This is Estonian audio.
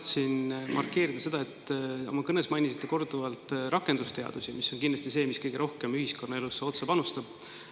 Tahtsin markeerida seda, et oma kõnes mainisite korduvalt rakendusteadusi, mis kindlasti kõige rohkem ühiskonnaelusse otse panustavad.